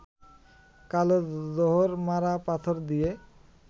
কালো জহর-মারা পাথর দিয়ে